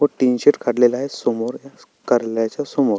तीन शीत काढलेल आहे समोर कार्यालयाच्या समोर.